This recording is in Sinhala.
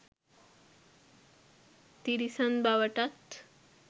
තිරිසන් බවටත්